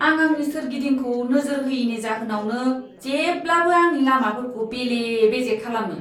आं आंनि सोरगिदिंखौ नोजोर होयैनि जाहोनावनो जेब्लाबो आंनि लामाफोरखौ बेले बेजे खालामो!